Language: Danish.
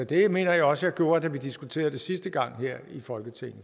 det mener jeg også jeg gjorde da vi diskuterede det sidste gang her i folketinget